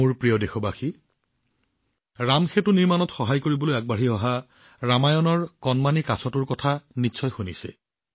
মোৰ প্ৰিয় দেশবাসী ৰামসেতু নিৰ্মাণত সহায় কৰিবলৈ আগবাঢ়ি অহা ৰামায়ণৰ কণমানি কাছটোৰ কথা নিশ্চয় শুনিছে